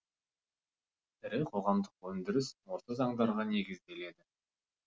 ірі қоғамдық өндіріс осы заңдарға негізделеді